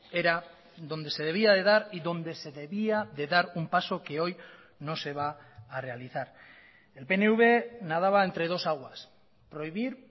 era donde se debía de dar y donde se debía de dar un paso que hoy no se va a realizar el pnv nadaba entre dos aguas prohibir